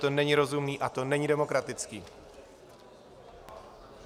To není rozumné a to není demokratické.